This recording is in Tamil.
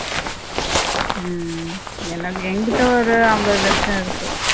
உம் ஏன்னா என்கிட்ட ஒரு ஐம்பது லட்சம் இருக்கு